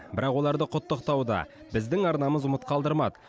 бірақ оларды құттықтауды біздің арнамыз ұмыт қалдырмады